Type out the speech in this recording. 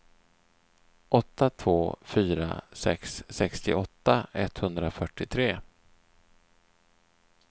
åtta två fyra sex sextioåtta etthundrafyrtiotre